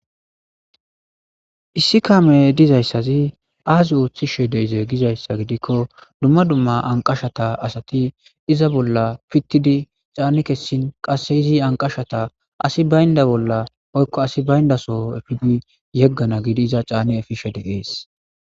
issi kame dizayssazi aasi ooththishe deize gizayssa gidikko dumma dumma anqashata asati iza bolla pittidi caani kessin qass izi anqashata asi baynda bolla oykko asi bayndaso efidi yeggana gidi iza caane efishe deees